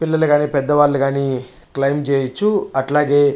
పిల్లలు గని పెద్ద వాళ్ళు గని క్లయిమే చెయ్యొచ్చు అట్లాగే--